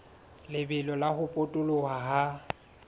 lebelo la ho potoloha ha